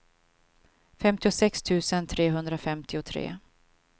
femtiosex tusen trehundrafemtiotre